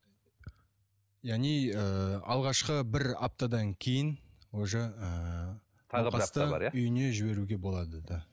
яғни ыыы алғашқы бір аптадан кейін уже ыыы науқасты үйіне жіберуге болады да